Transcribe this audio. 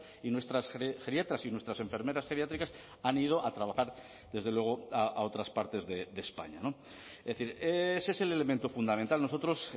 y nuestras geriatras y nuestras enfermeras geriátricas han ido a trabajar desde luego a otras partes de españa es decir ese es el elemento fundamental nosotros